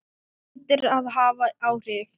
Það hlýtur að hafa áhrif.